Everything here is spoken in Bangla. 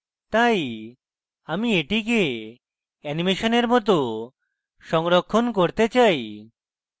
তাই আমি এটিকে animation এ মত সংরক্ষণ করতে চাই